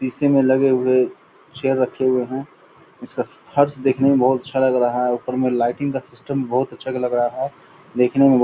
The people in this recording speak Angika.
शीशी में लगे हुए चेयर रखे हुए हैं। इसका फर्श देखने में बहुत अच्छा लग रहा है। ऊपर में लाइटिंग का सिस्टम भी बहुत अच्छा लग रहा है। देखने में बहुत --